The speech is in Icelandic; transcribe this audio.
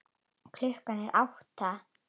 Klukkan er átta.